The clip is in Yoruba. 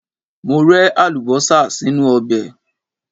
Mo rẹ Àlùbọ́sà sínú ọbẹ̀.